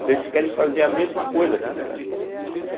Então eles querem fazer a mesma coisa aqui no Brasil.